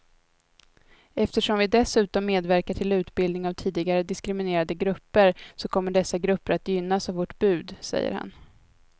Eftersom vi dessutom medverkar till utbildning av tidigare diskriminerade grupper så kommer dessa grupper att gynnas av vårt bud, säger han.